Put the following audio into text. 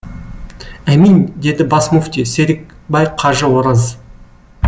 әмин деді бас мүфти серікбай қажы ораз